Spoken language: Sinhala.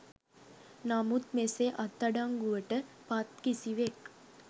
නමුත් මෙසේ අත්අඩංගුවට පත් කිසිවෙක්